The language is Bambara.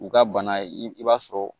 U ka bana i b'a sɔrɔ